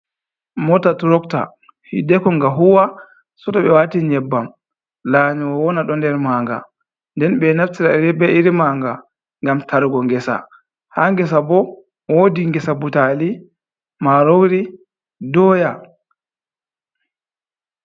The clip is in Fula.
Moota turokta, hiddeeko nga huuwa seeto ɓe waati nyebbam, laanyowo on ɗo nder maanga, nden ɓe naftira be irin maanga ngam tarugo ngesa, haa ngesa bo woodi ngesa butaali, maaroori, dooya.